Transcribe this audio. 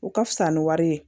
U ka fisa ni wari ye